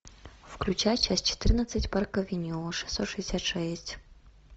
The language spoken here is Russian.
включай часть четырнадцать парк авеню шестьсот шестьдесят шесть